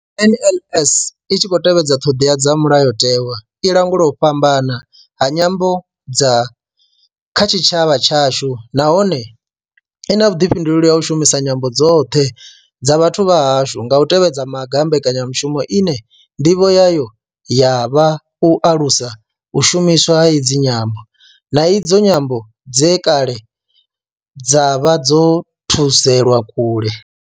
NLS I tshi khou tevhedza ṱhodea dza mulayotewa, i langula u fhambana ha nyambo kha tshitshavha tshashu nahone I na vhuḓifhinduleli ha u shumisa nyambo dzoṱhe dza vhathu vha hashu nga u tevhedza maga a mbekanyamaitele ine nḓivho yayo ya vha u alusa u shumiswa ha idzi nyambo, na idzo nyambo dze kale dza vha dzo thudzelwa kule.